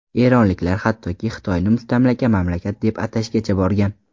Eronliklar hattoki Xitoyni mustamlaka mamlakat deb atashgacha borgan.